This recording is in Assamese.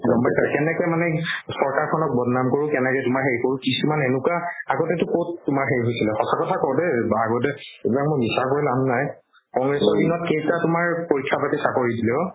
গম পাইছা কেনেকে মানে চৰকাৰ খনক বদনাম কৰো কেনেকে তোমাৰ সেই কৰো কিছুমান এনেকুৱা আগতেতো ক'ত তোমাৰ সেই হৈছিলে সঁচা কথা কও দে বা আগতে এইবিলাক মই মিছা কৈ লাভ নাই কংগ্ৰেছৰ দিনত কেইটা তোমাৰ পৰীক্ষা পাতি চাকৰি দিলে অ'